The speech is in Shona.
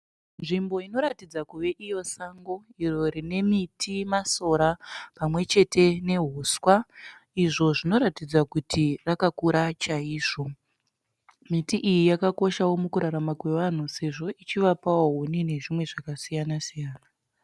Nzvimbo inoratidza kuve iyo sango rine miti masora nehuswa izvo zvinoratidza kuti rakakura chaizvo. Miti iyi yakakosha mukurarama kwe vanhu sezvo ichivapa huni nezvimwe zvakasiyana-siyana.